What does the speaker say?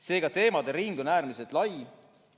Seega, teemade ring on äärmiselt lai.